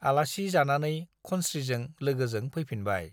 आलासि जानानै खनस्रीजों लोगोजों फैफिनबाय ।